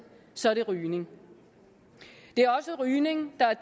så er det rygning det er også rygning der er